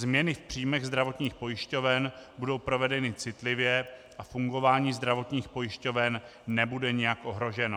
Změny v příjmech zdravotních pojišťoven budou provedeny citlivě a fungování zdravotních pojišťoven nebude nějak ohroženo.